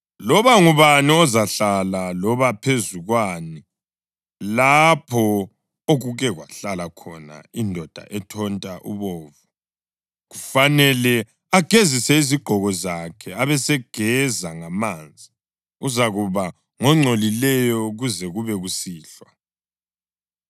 Loba ngubani ozahlala loba kuphezu kwani lapho okuke kwahlala khona indoda ethonta ubovu, kufanele agezise izigqoko zakhe abesegeza ngamanzi, uzakuba ngongcolileyo kuze kube kusihlwa.